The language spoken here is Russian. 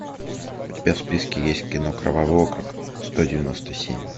у тебя в списке есть кино кровавый округ сто девяносто семь